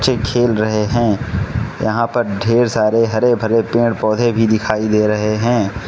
चे खेल रहे हैं यहां पर ढेर सारे हरे भरे पेड़ पौधे भी दिखाई दे रहे हैं।